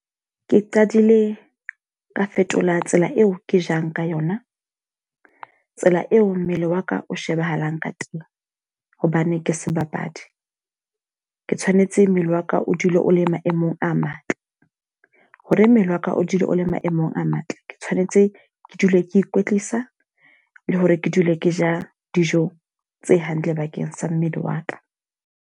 Ke qadile ka fetola tsela eo ke jang ka yona. Tsela eo mmele wa ka o shebahalang ka teng. Hobane ke sebapadi. Ke tshwanetse mmele waka o o dule o le maemong a matle. Hore mmele wa ka o dule o le maemong a matle. Ke tshwanetse ke dule ke ikwetlisa le hore ke dule ke ja dijo tse hantle bakeng sa mmele wa ka.